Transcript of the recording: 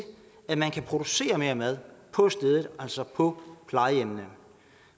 at man kan producere mere mad på stedet altså på plejehjemmene